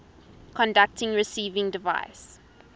conducting receiving device